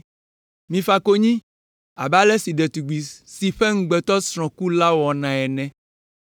Mifa konyi abe ale si ɖetugbi si ƒe ŋugbetɔsrɔ̃ ku la wɔnɛ ene.